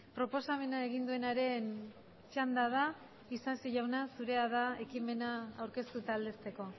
proposamena egin duenaren txanda da isasi jauna zurea da ekimena aurkeztu eta aldezteko